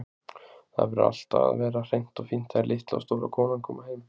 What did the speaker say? Það verður allt að vera hreint og fínt þegar litla og stóra konan koma heim.